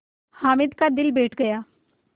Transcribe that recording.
हामिद का दिल बैठ गया